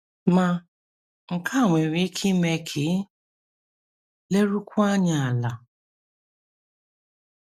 Ma, nke a nwere ike ime ka i lerukwuo anya ala.